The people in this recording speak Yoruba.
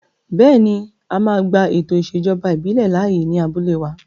Bẹ́ẹ̀ni, a máa gba ètò ìṣèjọba ìbílẹ̀ láàyè ní abúlé wa